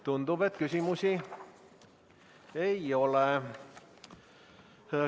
Tundub, et küsimusi ei ole.